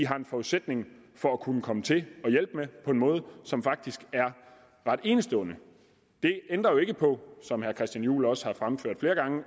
har en forudsætning for at kunne komme til at hjælpe på en måde som faktisk er ret enestående det ændrer jo ikke på som herre christian juhl også har fremført flere gange at